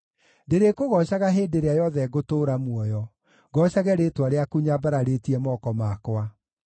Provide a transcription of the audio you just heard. Ndĩrĩkũgoocaga hĩndĩ ĩrĩa yothe ngũtũũra muoyo, ngoocage rĩĩtwa rĩaku nyambararĩtie moko makwa.